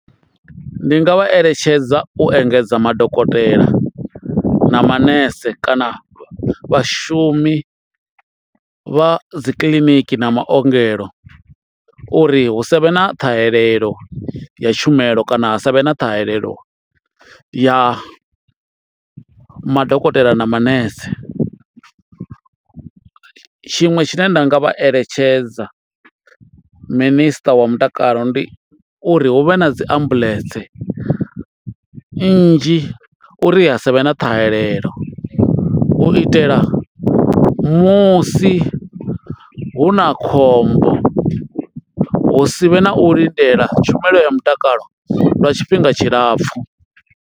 Ndi nga vha eletshedza u engedza madokotela na manese kana vhashumi vha dzi kiḽiniki na maongelo uri hu savhe na ṱhahelelo ya tshumelo kana ha savhe na ṱhahelelo ya madokotela na manese, tshiṅwe tshine nda nga vha eletshedza minister wa mutakalo ndi uri hu vhe na dzi ambuḽentse nnzhi uri ha savhe na ṱhahelelo u itela musi hu na khombo hu si vhe na u lindela tshumelo ya mutakalo lwa tshifhinga tshilapfhu.